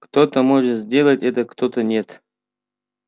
кто-то может сделать это кто-то нет